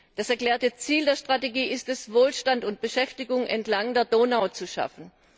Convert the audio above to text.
Das erklärte Ziel der Strategie ist es, Wohlstand und Beschäftigung entlang der Donau zu schaffen.